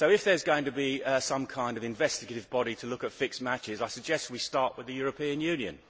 So if there is going to be some kind of investigative body to look at fixed matches, I suggest we start with the European Union.